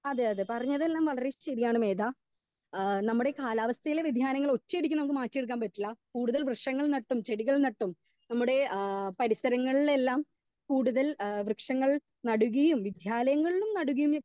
Speaker 2 അതെ അതെ പറഞ്ഞതെല്ലാം വളരെ ശരിയാണ് മേത ആ നമ്മുടെ കാലവസ്ഥയുടെ വ്യെധിയാനങ്ങൾ ഒറ്റയടിക്ക് മാറ്റി എടുക്കാൻ പറ്റില്ല കൂടുതൽ വൃക്ഷങ്ങൾ നട്ടും ചെടികൾ നട്ടും നമ്മുടെ ആ പരിസരങ്ങളിൽ എല്ലാ കൂടുതൽ വൃക്ഷങ്ങൾ നാടുകയും വിദ്യാലങ്ങളിലും നാടുകയും ഒക്കെ .